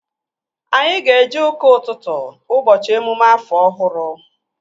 Anyị ga-eje ụka ụtụtụ ụbọchị emume afọ ọhụrụ